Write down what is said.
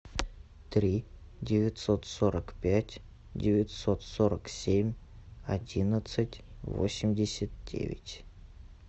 три девятьсот сорок пять девятьсот сорок семь одиннадцать восемьдесят девять